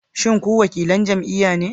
Shin ku wakilan jam'iyya ne?